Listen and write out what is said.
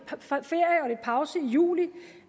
pause i juli